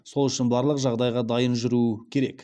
сол үшін барлық жағдайға дайын жүру керек